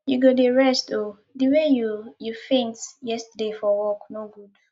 you go dey rest oo the way you you faint yesterday for work no good